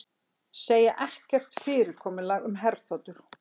Segja ekkert samkomulag um herþotur